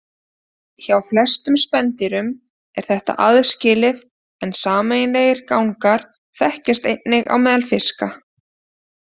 Hjá flestum spendýrum er þetta aðskilið en sameiginlegir gangar þekkjast einnig á meðal fiska.